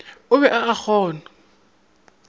o be a a kgonya